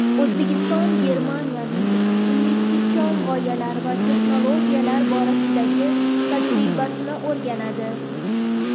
O‘zbekiston Germaniyaning innovatsion g‘oyalar va texnologiyalar borasidagi tajribasini o‘rganadi.